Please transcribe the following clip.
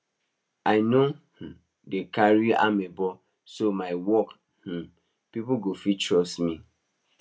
i no um dey like carry amebo so my work um people go fit trust me